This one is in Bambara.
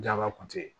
Jaba kun te yen